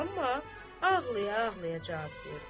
Amma ağlaya-ağlaya cavab verdi.